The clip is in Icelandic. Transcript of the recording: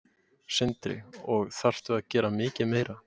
Sindri: Og þarftu að gera mikið meira?